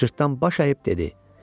Cırtdan baş əyib dedi: